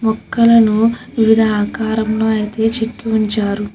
మొక్కలను వివిధ ఆకారంలో అయితే చెక్కివుంచారు.